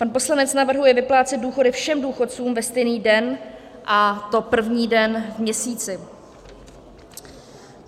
Pan poslanec navrhuje vyplácet důchody všem důchodcům ve stejný den, a to první den v měsíci.